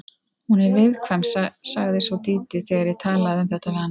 Hún er viðkvæm, sagði svo Dídí þegar ég talaði um þetta við hana.